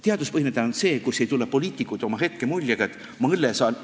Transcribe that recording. Teaduspõhine tähendab seda, et poliitikud ei tule oma hetkemuljega, et ma õllesaalis ...